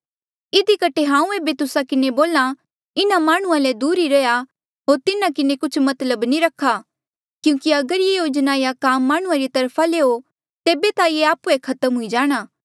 इधी कठे हांऊँ एेबे तुस्सा किन्हें बोल्हा इन्हा माह्णुंआं ले दूर ई रैहया होर तिन्हा किन्हें कुछ मतलब नी रखा क्यूंकि अगर ये योजना या काम माह्णुंआं री तरफा ले हो तेबे ता ये आप्हुए खत्म हुई जाणा